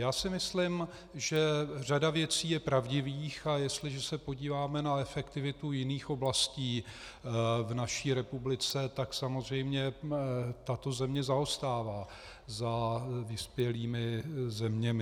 Já si myslím, že řada věcí je pravdivých, a jestliže se podíváme na efektivitu jiných oblastí v naší republice, tak samozřejmě tato země zaostává za vyspělými zeměmi.